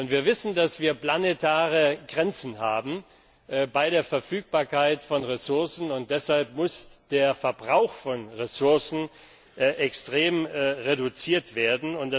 Wir wissen, dass wir planetare Grenzen haben bei der Verfügbarkeit von Ressourcen. Deshalb muss der Verbrauch von Ressourcen extrem reduziert werden.